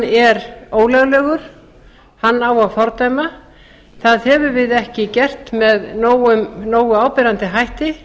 er ólöglegur hann á að fordæma það höfum við ekki gert með nógu áberandi hætti